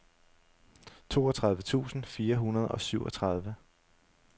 toogtredive tusind fire hundrede og syvogtredive